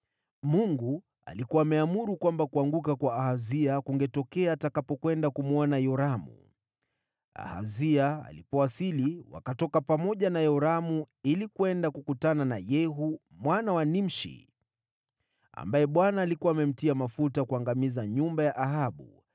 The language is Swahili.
Mungu alikuwa ameamuru kwamba kuanguka kwa Ahazia kungetokea atakapokwenda kumwona Yoramu. Ahazia alipowasili, wakatoka pamoja na Yoramu ili kwenda kukutana na Yehu mwana wa Nimshi, ambaye Bwana alikuwa amemtia mafuta kuangamiza nyumba ya Ahabu.